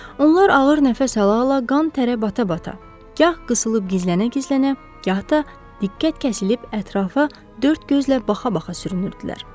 Onlar ağır nəfəs ala-ala, qan-tərə bata-bata, gah qısılıb gizlənə-gizlənə, gah da diqqət kəsilib ətrafa dörd gözlə baxa-baxa sürünürdülər.